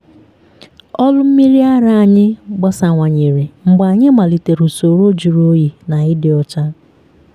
ọrụ mmiri ara anyị gbasawanyere mgbe anyị melitere usoro jụrụ oyi na ịdị ọcha.